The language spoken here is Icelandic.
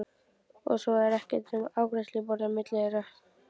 Og svo er ekkert nema afgreiðsluborðið á milli þeirra.